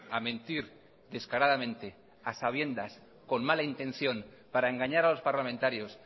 a mentir descaradamente a sabiendas con mala intención para engañar a los parlamentarios